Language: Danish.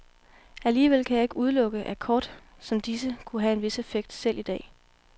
Alligevel kan jeg ikke udelukke, at kort som disse kunne have en vis effekt selv i dag.